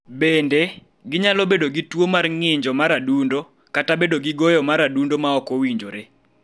Bende, ginyalo bedo gi tuo mar ng�iyo mar adundo (ah-RITH-me-ahs), kata bedo gi goyo mar adundo ma ok owinjore.